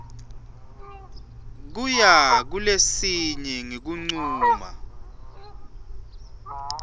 kuya kulesinye ngekuncuma